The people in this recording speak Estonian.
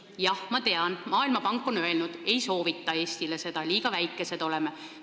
Jah, ma tean, et Maailmapank ei soovita seda Eestile, liiga väikesed oleme.